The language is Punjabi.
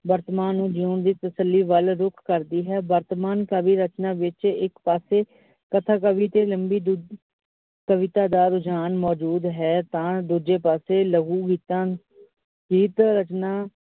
ਵਰਤਮਾਨ ਨੂੰ ਜਿਉਣ ਦੀ ਤਸੱਲੀ ਵੱਲ ਰੁਕ ਕਰਦੀ ਹੈ। ਵਰਤਮਾਨ ਕਵੀ ਰਚਨਾ ਵਿੱਚ ਇੱਕ ਪਾਸੇ ਕਥਾ ਕਵੀ ਤੇ ਲਂਬੀ ਕਵਿਤਾ ਦਾ ਰੁਝਾਨ ਮੌਜੂਦ ਹੈ ਤਾ ਦੂਜੇ ਪਾਸੇ ਲਹੂ ਹਿੱਤਾਂ ਦੀ ਰਚਨਾ।